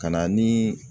Ka na ni